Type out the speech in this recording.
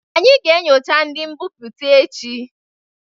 Anyị ga-enyocha ndị mbipụta echi